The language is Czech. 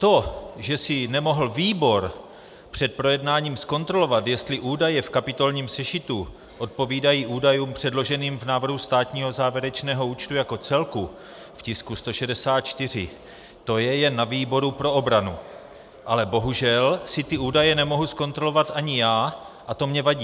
To, že si nemohl výbor před projednáním zkontrolovat, jestli údaje v kapitolním sešitu odpovídají údajům předloženým v návrhu státního závěrečného účtu jako celku v tisku 164, to je jen na výboru pro obranu, ale bohužel si ty údaje nemohu zkontrolovat ani já a to mně vadí.